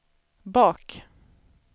bak